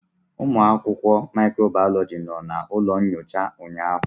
Ụmụ akwụkwọ microbiology nọ na ụlọ nyocha ụnyaahụ.